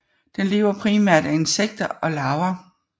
Den lever primært af insekter og larver